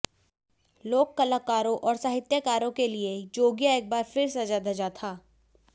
लोक कलाकारों और साहित्यकारों के लिए जोगिया एक बार फिर सजा धजा था